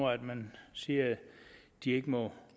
man siger de ikke må